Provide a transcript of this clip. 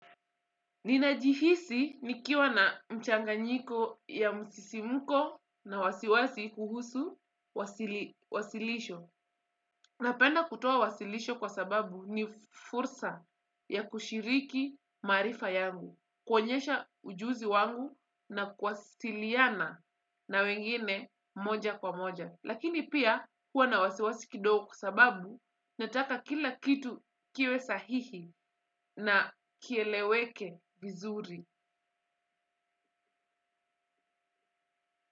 Ninajihisi nikiwa na mchanganyiko ya msisimuko na wasiwasi kuhusu wasilisho. Napenda kutoa wasilisho kwa sababu ni fursa ya kushiriki maarifa yangu. Kuonyesha ujuzi wangu na kwasiliana na wengine moja kwa moja. Lakini pia kuwa na wasiwasi kidogo kwa sababu nataka kila kitu kiwe sahihi na kieleweke vizuri.